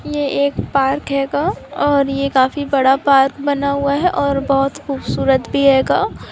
ये एक पार्क है गा और यह काफी बड़ा पार्क बना हुआ है और बहुत खूबसूरत भी है गा।